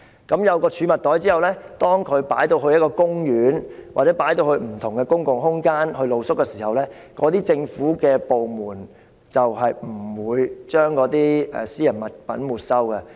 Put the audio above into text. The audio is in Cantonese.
有了這儲物袋後，當他們在公園或不同的公共空間露宿時，他們的私人物品便不會被政府部門沒收。